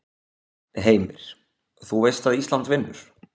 Heimir: Þú veist að Ísland vinnur?